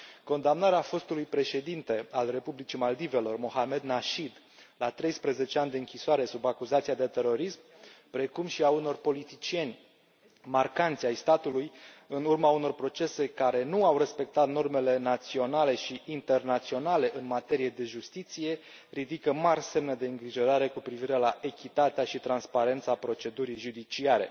Condamnarea fostului președinte al Republicii Maldivelor, Mohamed Nasheed, la treisprezece ani de închisoare sub acuzația de terorism, precum și a unor politicieni marcanți ai statului în urma unor procese care nu au respectat normele naționale și internaționale în materie de justiție ridică mari semne de îngrijorare cu privire la echitatea și transparența procedurii judiciare.